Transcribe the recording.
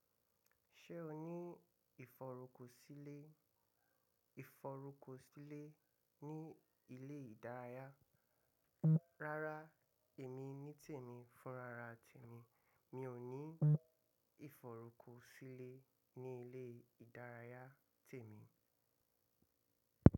Ṣé o ní ìfọ̀rùkọ̀sílẹ̀ ìfọ̀rùkọ̀sílẹ̀ ní ilé ìdárayá? Rárá, èmi nítẹ̀ mí fúnrararà tẹ̀mi, mi ò ní ìfọ̀rùkọ̀sílẹ̀ ní ilé ìdárayá tẹ̀mi.